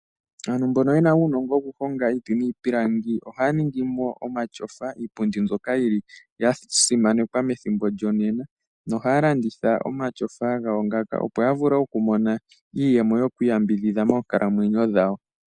Aantu mbono yena uunongo wokuhonga iiti niipilangi ohaya ningi mo omatyofa, iipundi mbyoka yi li ya simanekwa methimbo lyongaashingeyi. Ohaya landitha omatyofa gawo ngaka, opo ya vule okumona iiyemo yokwiiyambidhidha moonkalamwenyo dhawo.